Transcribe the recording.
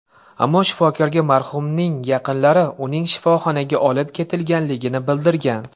Ammo shifokorga marhumning yaqinlari uning shifoxonaga olib ketilganligini bildirgan.